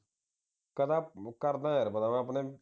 ਕਹਿੰਦਾ ਕਰਦਾ ਹਾਂ ਯਾਰ ਪਤਾ ਮੈਂ ਆਪਣੇ